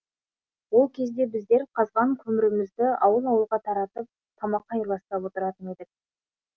ол кезде біздер қазған көмірімізді ауыл ауылға таратып тамаққа айырбастап отыратын едік